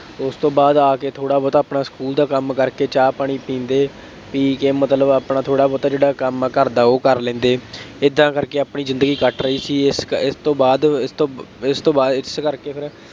ਉਸ ਤੋਂ ਬਾਅਦ ਆ ਕੇ ਥੋੜ੍ਹਾ ਬਹੁਤ ਆਪਣਾ ਸਕੂਲ ਦਾ ਕੰਮ ਕਰਕੇ ਚਾਹ-ਪਾਣੀ ਪੀਂਦੇ, ਪੀ ਕੇ ਮਤਲਬ ਆਪਣਾ ਥੋੜ੍ਹਾ ਬਹੁਤਾ ਜਿਹੜਾ ਕੰਮ ਆ ਘਰਦਾ ਉਹ ਕਰ ਲੈਂਦੇ, ਏਦਾਂ ਕਰਕੇ ਆਪਣੀ ਜ਼ਿੰਦਗੀ ਕੱਟ ਰਹੀ ਸੀ। ਇਸ ਕ ਇਸ ਤੋਂ ਬਾਅਦ, ਇਹ ਤੋਂ ਬਾ, ਇਸ ਤੋਂ ਬਾਅਦ ਇਸੇ ਕਰਕੇ ਫੇਰ